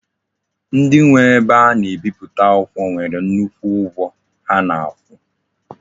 Ndi nwe ebe a na-ebiputa akwukwo nwere nnukwu ugwo ha na-akwu.